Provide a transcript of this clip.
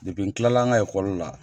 Depi n kilala n ka ekɔli la